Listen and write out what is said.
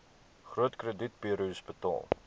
groot kredietburos betaal